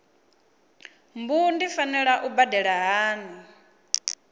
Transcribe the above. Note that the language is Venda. mbu ndi fanela u badela hani